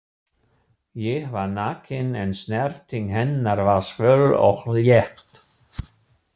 Ég var nakinn en snerting hennar var svöl og létt.